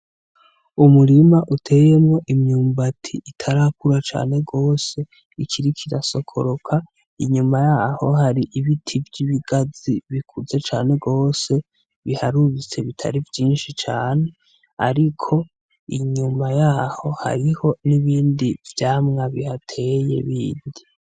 Umurima uteyemwo imyumbati itarakura cane gose ikiriko irasokoroka, inyuma yaho hari ibiti vy'ibigazi bikuze cane gose biharuritse bitari vyinshi cane ariko inyuma yaho hariho n'ibindi vyamwa bihateye bindi.